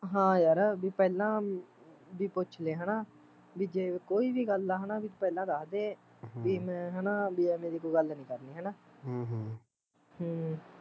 ਹਾਂ ਯਾਰ ਵੀ ਪਹਿਲਾਂ ਵੀ ਪੁੱਛਲੇ ਹੈਨਾ ਵੀ ਜੇ ਕੋਈ ਵੀ ਗੱਲ ਆ ਹੈਨਾ ਵੀ ਪਹਿਲਾਂ ਦੱਸਦੇ ਹਮ ਵੀ ਮੈਂ ਹੈਨਾ ਐਵੈ ਦੀ ਕੋਈ ਗੱਲ ਨੀ ਕਰਣੀ ਹੈਨਾ ਹਮ ਹਮ ਹਮ